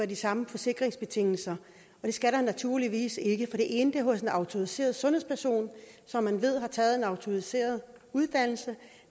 de samme forsikringsbetingelser og det skal der naturligvis ikke være for det ene er hos en autoriseret sundhedsperson som man ved har taget en autoriseret uddannelse